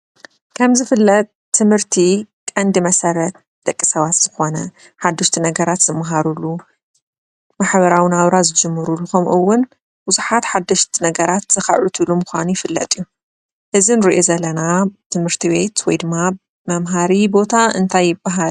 ከም ዚፈለጥ ትምህርት ቀነዲ መሰረትደቅ ሰበት ዚኮነ ሓደሽት ነገራት ዚማሃረሉ ማሕበራዊ ናብራ ዚጂመሩሉ ክምእዉኒ ቡዛሓት ሓደሽቲ ነገራት ዝክዕብትሉምካኑ ይፍለጥ እዩ። እዚእኒርኦዘለና ትምህርት ቤት ወይ ዲማ መምህሪ ቦታ እነታይ ይባሃል?